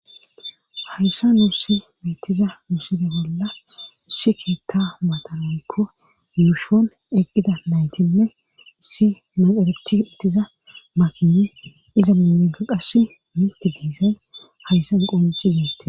hayssa nuussi mitiza nuside bolla issi keitta matanaykko lushon eqqida naytinne issi maxerechi ittiza makinne iza mumeko qasse minti diizay hayssa qomihi deette